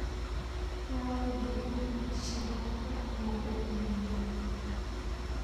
aaway dukaanka shaararka laku ibiyo